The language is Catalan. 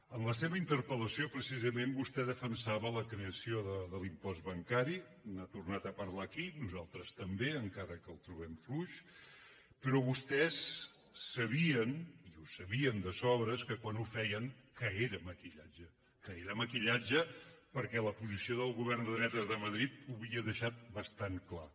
en la seva interpel·lació precisament vostè defensava la creació de l’impost bancari n’ha tornat a parlar aquí nosaltres també encara que ho trobem fluix però vostès sabien i ho sabien de sobres que quan ho feien era maquillatge que era maquillatge perquè l’oposició del govern de dretes de madrid ho havia deixat bastant clar